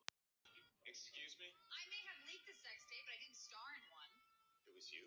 Elíeser, spilaðu lagið „Apinn í búrinu“.